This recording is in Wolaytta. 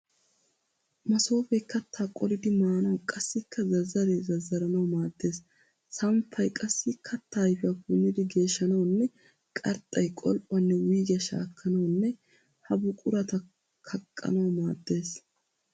Masoofee kattaa qolidi maanawu qassikka zazzaree zazzaranawu maaddees. Samppay qassi kattaa ayifiya punnidi geeshshanawunne qarxxay qol'uwaanne wuyigiya shaakkanawunne ha buqurata kaqqanawu maaddes.